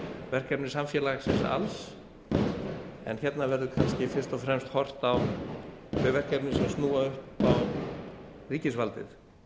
verkefni samfélagsins alls en hérna verður kannski fyrst og fremst horft á þau verkefni sem snúa upp á ríkisvaldið